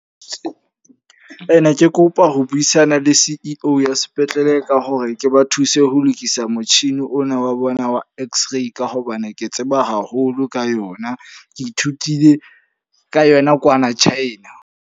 Ne ke kopa ho buisana le C_E_O ya sepetlele ka hore ke ba thuse ho lokisa motjhini ona wa bona wa X-Ray. Ka hobane ke tseba haholo ka yona. Ke ithutile ka yona kwana China.